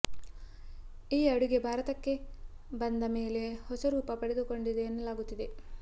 ಈ ಅಡುಗೆ ಭಾರತಕ್ಕೆ ಬಂದ ಮೇಲೆ ಹೊಸ ರೂಪ ಪಡೆದುಕೊಂಡಿದೆ ಎನ್ನಲಾಗುತ್ತಿದೆ